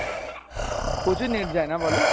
প্রচুর net যায় না বলো?